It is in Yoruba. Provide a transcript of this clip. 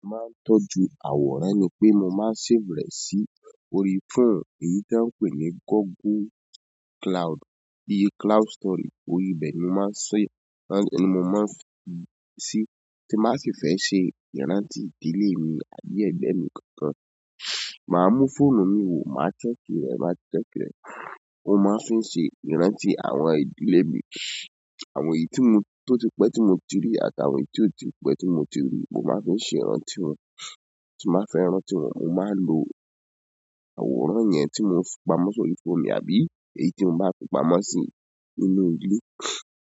Màá tọ́jú àwòrán ni pé mo máa save rẹ̀ sí orí fóònù èyí tí wọ́n ń pè ní Google Cloud, bíi cloud storage. Orí bẹ́ẹ̀ ni mo máa si, ni mo máa fì si, tí m bàá si fẹ́ ṣe ìrántí ìdílé mi àbí ẹ̀gbọ́n mi kankan. Màá mú fóònù mi wò, màá sẹ́kìrẹ̀, màá sẹ́kìrẹ̀. Ó máa ń fi ṣe ìrántí àwọn ìdílé mi, àwọn èyí tí mo, tó tì pẹ́ tí mo ti rí àtàwọn èyí tí ó ti pẹ́ tí mo ti rí. Mo máa ń fi ṣe ìrántí wọn, tí màá fẹ́ ràntì wọn, mo máa lo àwòrán yẹn tí mo fi pamọ́ sórí fóònù mi àbí èyí tí mo bá fi pamọ́ sí inú ilé.